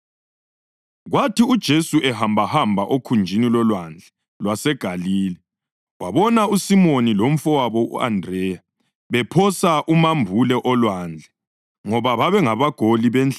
Kwathi uJesu ehambahamba okhunjini loLwandle lwaseGalile wabona uSimoni lomfowabo u-Andreya bephosa umambule olwandle ngoba babengabagoli benhlanzi.